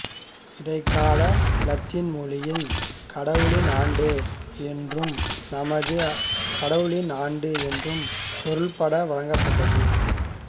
இடைக்கால இலத்தீன் மொழியில் கடவுளின் ஆண்டு என்றும் நமது கடவுளின் ஆண்டு என்றும் பொருள்பட வழங்கப்பட்டது